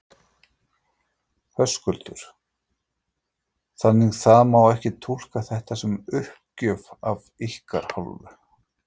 Höskuldur: Þannig það má ekki túlka þetta sem uppgjöf af ykkar hálfu?